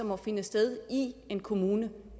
må finde sted i en kommune